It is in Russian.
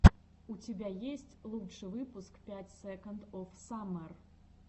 у тебя есть лучший выпуск пять секондс оф саммер